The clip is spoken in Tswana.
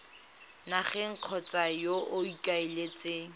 nageng kgotsa yo o ikaeletseng